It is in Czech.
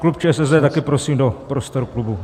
Klub ČSSD taky prosím do prostor klubu.